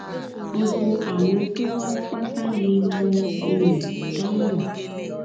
gbogbo àwọn tó wá pátá ni mo um dá mọ